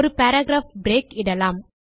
ஒரு paragraph break இடலாம்